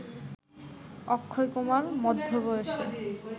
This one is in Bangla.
অক্ষয়কুমার মধ্য বয়সে